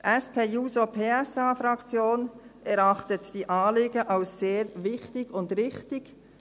Die SP-JUSO-PSA-Fraktion erachtet diese Anliegen als sehr wichtig und richtig.